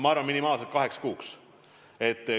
Ma arvan, et minimaalselt kaheks kuuks.